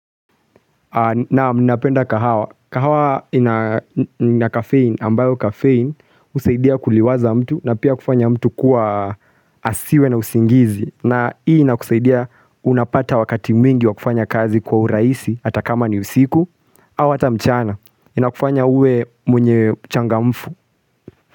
Naam ninapenda kahawa. Kahawa ina kafein ambayo kafein husaidia kuliwaza mtu na pia kufanya mtu kuwa asiwe na usingizi. Na hii inakusaidia unapata wakati mingi wa kufanya kazi kwa urahisi hata kama ni usiku au hata mchana. Inakufanya uwe mwenye uchangamfu.